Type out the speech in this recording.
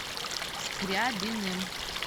скрябиным